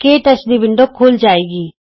ਕੇ touch ਦੀ window ਖੁੱਲ੍ਹ ਜਾਏਗੀ